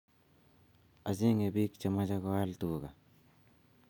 Achenge pik che mache koal tuka